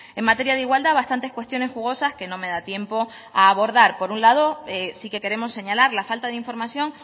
en materia de igualdad bastantes cuestiones jugosas que no me da tiempo a abordar por un lado sí que queremos señalar la falta de información